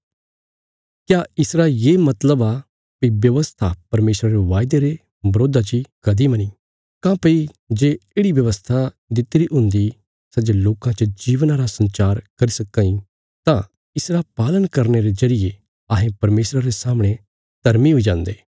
क्या इसरा ये मतलब आ भई व्यवस्था परमेशरा रे वायदे रे बिरोधा ची कदीं मनी काँह्भई जे येढ़ि व्यवस्था दित्तिरी हुन्दी सै जे लोकां च जीवना रा संचार करी सक्कां इ तां इसरा पालन करने रे जरिये अहें परमेशरा रे सामणे धर्मी हुई जान्दे